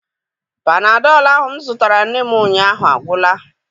Panadọlụ ahụ m zụtara nne m ụnyaahụ agwụla.